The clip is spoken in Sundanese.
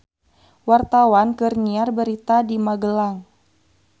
Wartawan keur nyiar berita di Magelang